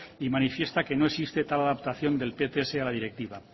y manifiesta que no existe tal adaptación del pts a la directiva